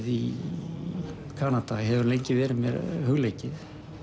í Kanada hefur lengi verið mér hugleikið